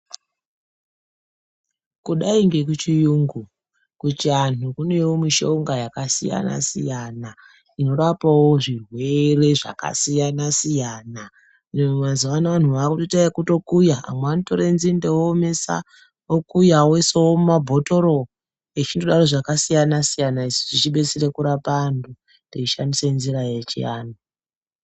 Kudai ngekuchiyungu, kuchianhu kunewo mishonga yakasiya siyana inorapawo zvirwere zvakasiya siyana. Mazuvano vanhu vakutoita ekukuya, amwe anotora nzinde oomesa oisa mumabhotoro echindodaro zvakasiyana siyana, isu tichibetsera kurapa anthu techishandisa nzira yechianthu.